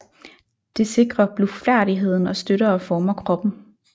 Det sikrer blufærdigheden og støtter og former kroppen